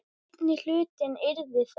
Seinni hlutinn yrði þá